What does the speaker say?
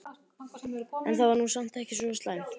En það var nú samt ekki svo slæmt.